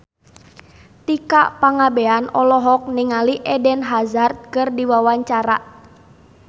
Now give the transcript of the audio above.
Tika Pangabean olohok ningali Eden Hazard keur diwawancara